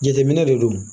Jateminɛ de don